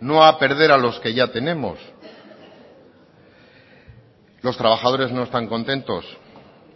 no a perder a los que ya tenemos los trabajadores no están contentos